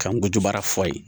Ka n go bara fɔ ye